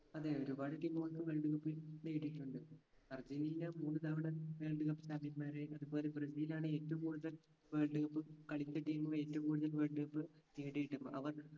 അതെ ഒരുപാട് team കൾക്ക് world cup ൽ നേടിയിട്ടുണ്ട് അർജന്റീന മൂന്ന് തവണ world cup champion മാരായി അതുപോലെ ബ്രസീൽ ആണ് ഏറ്റവും കൂടുതൽ world cup കളിച്ച team കളി ഏറ്റവും കൂടുതൽ world cup നേടിയിട്ടുണ്ട് അവർ